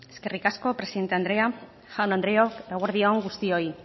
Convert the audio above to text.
eskerrik asko presidente andrea jaun andreok eguerdi on guztioi